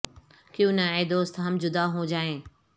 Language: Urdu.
کیو ں نہ اے دوست ہم جدا ہو جا ئیں